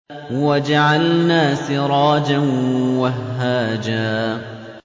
وَجَعَلْنَا سِرَاجًا وَهَّاجًا